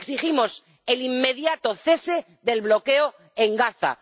Exigimos el inmediato cese del bloqueo en Gaza.